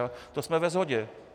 A to jsme ve shodě.